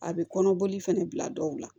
A bɛ kɔnɔboli fɛnɛ bila dɔw la